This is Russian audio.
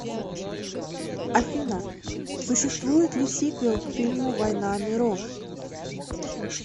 афина существует ли сиквел к фильму воина миров